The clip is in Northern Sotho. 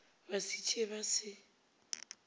ba se tsee ba se